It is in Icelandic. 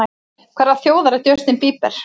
Hverrar þjóðar er Justin Bieber?